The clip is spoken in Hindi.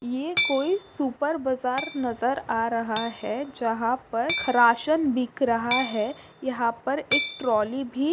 ये कोई सुपर बजार नज़र आ रहा है जहा पर राशन बिक रहा है यहाँ पर एक ट्रौली भी--